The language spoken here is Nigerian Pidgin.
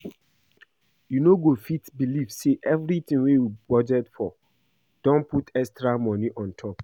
You no go fit believe say everything we budget for don put extra money on top